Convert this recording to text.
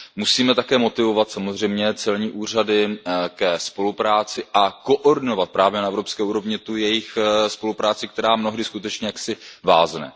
Musíme také motivovat samozřejmě celní úřady ke spolupráci a koordinovat právě na evropské úrovni tu jejich spolupráci, která mnohdy skutečně vázne.